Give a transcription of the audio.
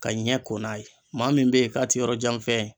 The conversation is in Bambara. Ka ɲɛ ko n'a ye maa min be yen k'a te yɔrɔjanfɛn ye